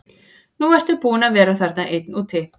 Nú ertu búinn að vera þarna einn úti.